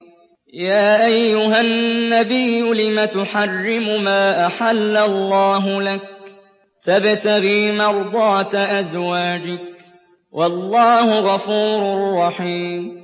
يَا أَيُّهَا النَّبِيُّ لِمَ تُحَرِّمُ مَا أَحَلَّ اللَّهُ لَكَ ۖ تَبْتَغِي مَرْضَاتَ أَزْوَاجِكَ ۚ وَاللَّهُ غَفُورٌ رَّحِيمٌ